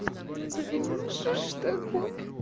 ну блин ну что ж такое